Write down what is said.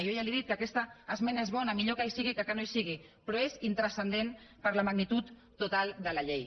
jo ja li he dit que aquesta esmena és bona millor que hi sigui que no hi sigui però és intranscendent per la magnitud total de la llei